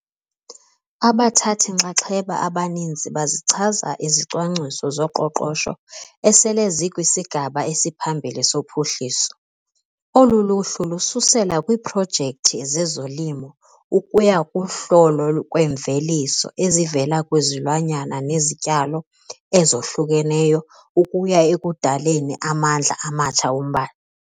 Abathathi-nxaxheba abaninzi bazichaza izicwangciso zoqoqosho esele zikwisigaba esiphambili sophuhliso. Olu luhlu lususela kwiiprojekthi zezolimo ukuya kuhlolo kwemveliso ezivela kwizilwanyana nezityalo ezohlukeneyo ukuya ekudaleni amandla amatsha ombane.